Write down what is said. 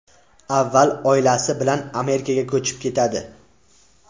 Avval oilasi bilan Amerikaga ko‘chib ketadi.